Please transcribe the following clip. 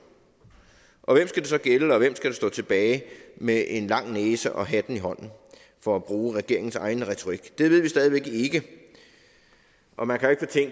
og hvem skal det så gælde og hvem skal stå tilbage med en lang næse og hatten hånden for at bruge regeringens egen retorik det ved vi stadig væk ikke og man kan